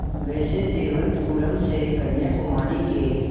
वैसे तिरुवनंतपुरम से कन्याकुमारी के